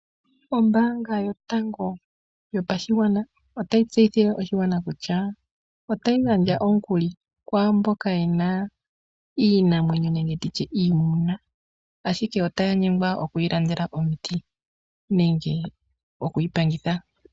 Ombaanga yotango yopashigwana otayi tseyithile oshigwana kutya otayi gandja omukuli kwaamboka yena iinamwenyo nenge iimuna ashike otaya nyengwa oku yi landela omiti nenge okuyi pangitha.